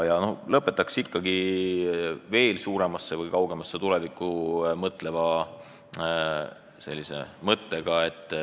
Lõpetan veel kaugemasse tulevikku ulatuva mõttega.